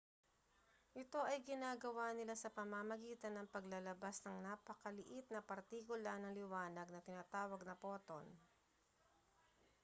ito ay ginagawa nila sa pamamagitan ng paglalabas ng napakaliit na partikula ng liwanag na tinatawag na photon